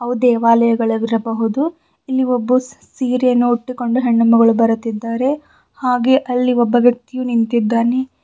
ದೇವಾಲಯಗಳು ವಿರಬಹುದು ಇಲ್ಲಿ ಒಬ್ಬು ಸೀರೆಯನ್ನು ಉಟ್ಟುಕೊಂಡು ಹೆಣ್ಣು ಮಗಳು ಬರುತ್ತಿದ್ದಾರೆ ಹಾಗೆ ಅಲ್ಲಿ ಒಬ್ಬ ವ್ಯಕ್ತಿಯು ನಿಂತಿದ್ದಾನೆ.